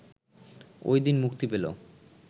ওই দিন মুক্তি পেল